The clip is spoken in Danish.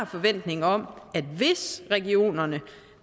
forventning om at hvis regionerne